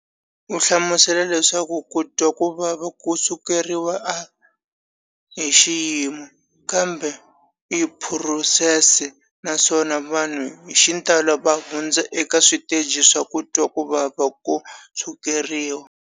U hlamusela leswaku ku twa ku vava ko sukeriwa a hi xiyimo, kambe i phurosese, naswona vanhu hi xitalo va hundza eka switeji swa ku twa ku vava ko sukeriwa.